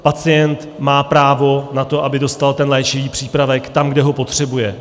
Pacient má právo na to, aby dostal ten léčivý přípravek tam, kde ho potřebuje.